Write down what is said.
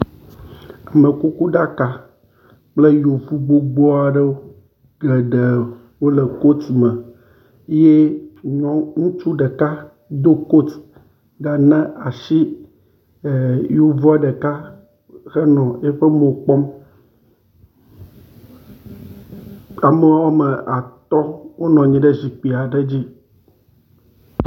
Amekuku ɖaka kple yevu gbogbo aɖewo, geɖe wole kot me, ye ŋutsu ɖeka do kot yi ɖana asi yevua ɖeka henɔ woƒe mo kpɔ, ame wome atɔ wona nyi ɖe zikpi aɖe dzi.